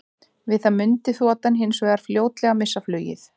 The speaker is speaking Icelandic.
Við það mundi þotan hins vegar fljótlega missa flugið.